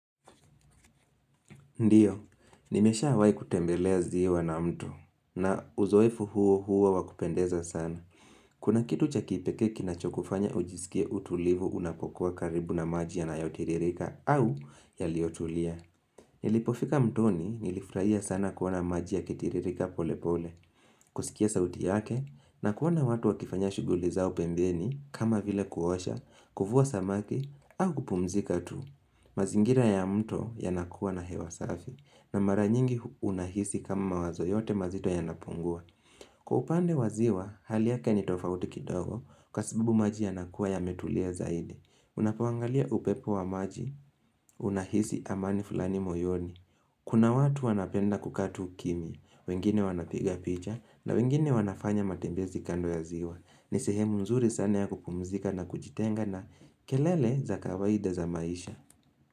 Ndiyo, nimeshawai kutembelea ziwa na mtu. Na uzoefu huo huwa wakupendeza sana. Kuna kitu cha kipekee kinachokufanya ujisikia utulivu unapokuwa karibu na maji yanayotiririka au yaliyotulia. Nilipofika mtoni, nilifurahia sana kuona maji yakitiririka pole pole. Kusikia sauti yake na kuona watu wakifanya shughuli zao pembeni kama vile kuosha, kuvua samaki au kupumzika tu. Mazingira ya mto, yanakuwa na hewa safi. Na mara nyingi unahisi kama wazo yote mazito yanapungua. Kwa upande waziwa, hali yake ni tofauti kidogo. Kwa sababu maji yanakuwa yametulia zaidi. Unapoangalia upepo wa maji Unahisi amani fulani moyoni. Kuna watu wanapenda kukaa tu kimya. Wengine wanapiga picha. Na wengine wanafanya matembezi kando ya ziwa. Ni sehemu mzuri sana ya kupumzika na kujitenga na kelele za kawaida za maisha.